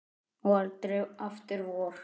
Og aldrei aftur vor.